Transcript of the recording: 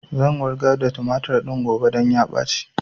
Zan wurgar da tumatur din gobe don ya ɓaci